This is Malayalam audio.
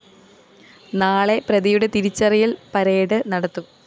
നാളെ പ്രതിയുടെ തിരിച്ചറിയല്‍ പരടെ നടത്തും